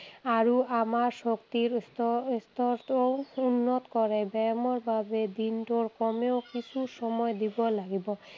আৰু আমাৰ শক্তিৰ স্তৰটোও উন্নত কৰে। ব্যায়ামৰ বাবে দিনটোৰ কমেও কিছু সময় দিব লাগিব।